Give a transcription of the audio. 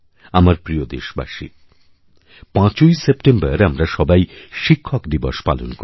আমার প্রিয়দেশবাসী ৫ই সেপ্টেম্বর আমরা সবাই শিক্ষক দিবস পালন করি